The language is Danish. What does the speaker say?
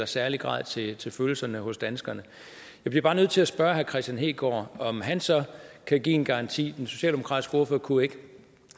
særlig grad taler til følelserne hos danskerne jeg bliver bare nødt til at spørge herre kristian hegaard om han så kan give en garanti for den socialdemokratiske ordfører kunne ikke